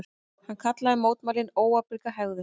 Hann kallaði mótmælin óábyrga hegðun